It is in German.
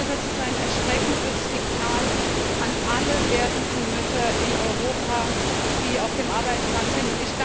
Das ist ein erschreckendes Signal an alle werdenden Mütter in Europa, die auf dem Arbeitsmarkt sind.